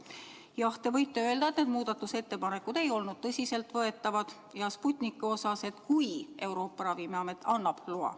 Jah, te võite öelda, et need muudatusettepanekud ei olnud tõsiseltvõetavad, ja Sputniku kohta, et kui Euroopa Ravimiamet annab loa.